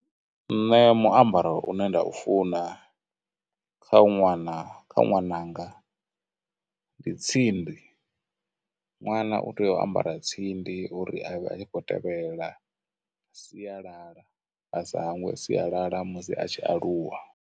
Nṋe muambaro une nda u funana kha ṅwana, kha ṅwananga, ndi tsindi, ṅwana u tea u ambara tsindi uri avhe a khou tevhelela sialala, a sa hangwe sialala musi a tshi aluwa.